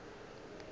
o be a šetše a